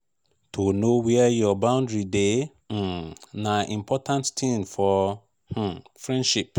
to know where your boundary dey um na important tin for um friendship